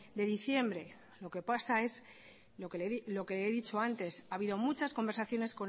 de diciembre lo que pasa es lo que le he dicho antes ha habido muchas conversaciones